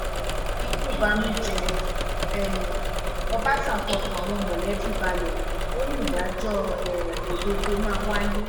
ikú bajímọ um ọbaṣá fọkàn àwọn mọ̀lẹ́bí balẹ̀ ó ní ìdájọ́ um òdodo máa wáyé